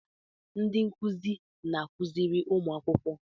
Ndị nkụzi na-akụziri ụmụ akwụkwọ.